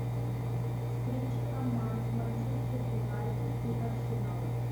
встреча команд манчестер юнайтед и арсенал